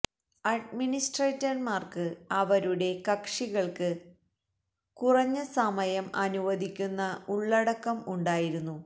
അഡ്മിനിസ്ട്രേറ്റർമാർക്ക് അവരുടെ കക്ഷികൾക്ക് കുറഞ്ഞ സമയം സമയം അനുവദിക്കുന്ന ഉള്ളടക്കം ഉണ്ടായിരുന്നു